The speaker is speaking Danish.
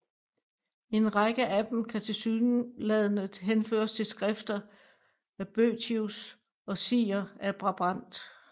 En række af dem kan tilsyneladende henføres til skrifter af Boethius og Siger af Brabant